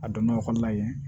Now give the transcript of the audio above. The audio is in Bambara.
A donn'o kɔnɔna ye